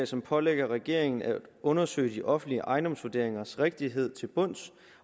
som pålægger regeringen at undersøge de offentlige ejendomsvurderingers rigtighed til bunds